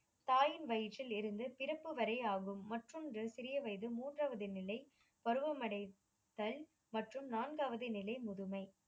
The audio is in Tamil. தாயின் வயிற்றில் இருந்து பிறப்பு வரை ஆகும். மற்றொன்று சிறிய வயது மூன்றாவது நிலை பருவமடைதல் மற்றும் நான்காவது நிலை முதுமை